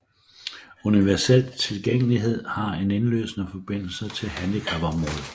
Universel Tilgængelighed har en indlysende forbindelse til handicapområdet